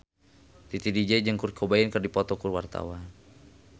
Titi DJ jeung Kurt Cobain keur dipoto ku wartawan